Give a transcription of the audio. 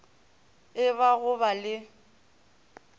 e ba go ba le